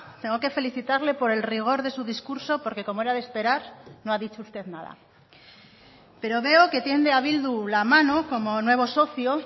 tengo que felicitarle por el rigor de su discurso porque como era de esperar no ha dicho usted nada pero veo que tiende a bildu la mano como nuevo socio